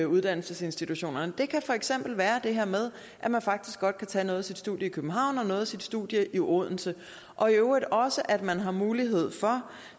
uddannelsesinstitutionerne det kan for eksempel være det her med at man faktisk godt kan tage noget af sit studie i københavn og noget af sit studie i odense og i øvrigt også at man har mulighed for